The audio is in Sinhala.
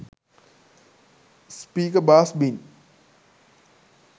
speaker bass bin